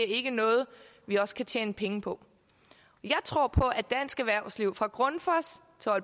ikke noget vi også kan tjene penge på jeg tror på at dansk erhvervsliv fra grundfos